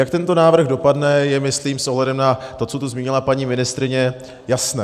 Jak tento návrh dopadne, je myslím s ohledem na to, co tu zmínila paní ministryně, jasné.